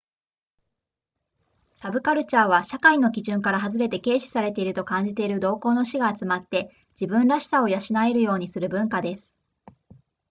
サブカルチャーは社会の基準から外れて軽視されていると感じている同好の士が集まって自分らしさを養えるようにする文化です